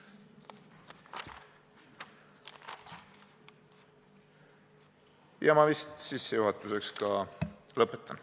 Sellega ma sissejuhatuse ka lõpetan.